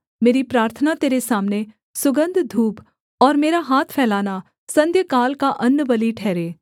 मेरी प्रार्थना तेरे सामने सुगन्ध धूप और मेरा हाथ फैलाना संध्याकाल का अन्नबलि ठहरे